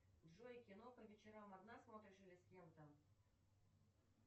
джой кино по вечерам одна смотришь или с кем то